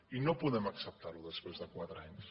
i no podem acceptar ho després de qua tre anys